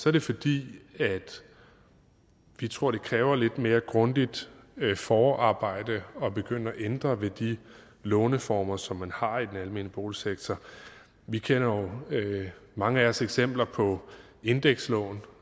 er det fordi vi tror det kræver et lidt mere grundigt forarbejde at begynde at ændre ved de låneformer som man har i den almene boligsektor vi kender jo mange af os eksempler på indekslån